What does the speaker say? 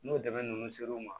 N'o dɛmɛ ninnu ser'u ma